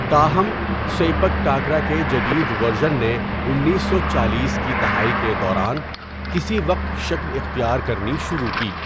تاہم، sepak takraw کے جدید ورژن نے انیس سو چالیس کی دہائی کے دوران کسی وقت شکل اختیار کرنی شروع کی۔